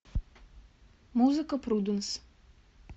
музыка пруденс